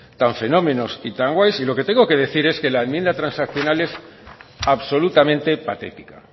tan fenómenos y tan guays y lo que tengo que decir es que la enmienda transaccional es absolutamente patética